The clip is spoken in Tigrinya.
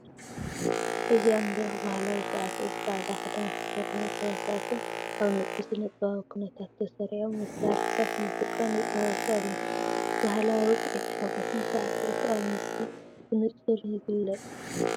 እዚ ኣብ መድረኽ ባህላዊ ሳዕስዒት ጻዕዳ ክዳን ዝተኸድኑ ተዋሳእትን ኣብ ንጹር ስነ-ጥበባዊ ኵነታት ተሰሪዖም መሳርሒታት ሙዚቃን ይፃወቱ ኣለዉ። ባህላዊ ውቅዒት ሓጎስን ሳዕስዒት ኣብቲ ምስሊ ብንጹር ይግለጽ።